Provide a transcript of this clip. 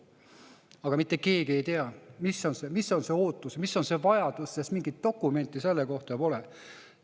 Aga mitte keegi ei tea, mis on see ootus, mis on see vajadus, sest mingit dokumenti selle kohta pole.